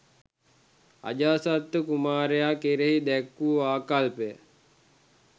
අජාසත්ත කුමාරයා කෙරෙහි දැක් වූ ආකල්පය